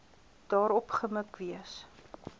daarop gemik wees